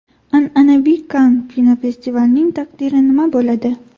An’anaviy Kann kinofestivalining taqdiri nima bo‘ladi?.